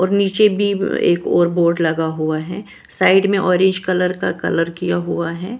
और नीचे भी एक और बोर्ड लगा हुआ है साइड में ऑरेंज कलर का कलर किया हुआ है।